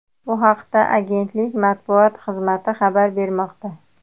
Bu haqda agentlik matbuot xizmati xabar bermoqda .